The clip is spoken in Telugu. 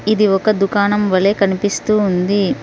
ఇది ఒక దుకాణం వలే కనిపిస్తూ ఉంది.